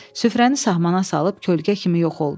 Süfrəni sağımana salıb kölgə kimi yox oldu.